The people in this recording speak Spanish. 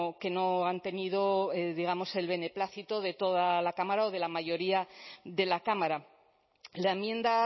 que no han tenido digamos el beneplácito de toda la cámara o de la mayoría de la cámara la enmienda